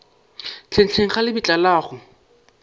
hlenghleng ga lebitla la go